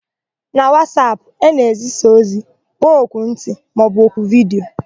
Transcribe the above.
Na Wasapụ, a na-ezisa ozi, kpọọ oku nkịtị maọbụ oku vidiyo.